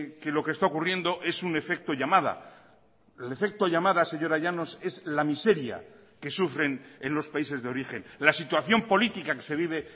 que lo que está ocurriendo es un efecto llamada el efecto llamada señora llanos es la miseria que sufren en los países de origen la situación política que se vive